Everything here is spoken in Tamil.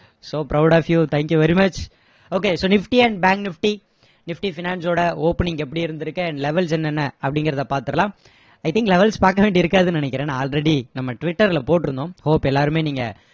so proud of you thank you very much okay so nifty and bank nifty nifty finance ஓட opening எப்படி இருந்திருக்கு and levels என்னென்ன அப்படிங்கிறதை பார்த்துடலாம் i think levels பார்க்க வேண்டியது இருக்காதுன்னு நினைக்கிறேன் ஏன்னா already நம்ம twitter ல போட்டிருந்தோம் hope எல்லாருமே நீங்க